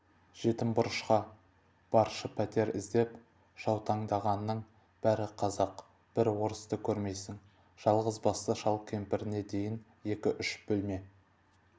жетім бұрышқа баршы пәтер іздеп жаутаңдағанның бәрі қазақ бір орысты көрмейсің жалғызбасты шал-кемпіріне дейін екі-үш бөлме